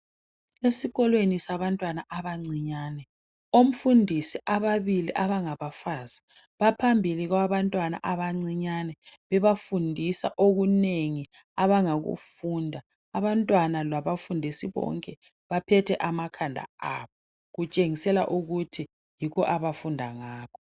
Esikolweni sabantwana abancinyane. Omfundisi ababili abangabafazi baphambili kwabantwana abancinyane bebafundisa okunengi abangakufunda abantwana labafundisi bonke baphethe amakhanda aba kutshengisela ukuthi yikho abafunda ngakho.